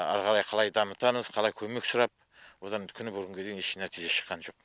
ары қарай қалай дамытамыз қалай көмек сұрап одан күні бұрын бүгінге дейін еш нәтиже шыққан жоқ